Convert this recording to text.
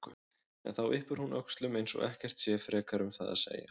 En þá yppir hún öxlum eins og ekkert sé frekar um það að segja.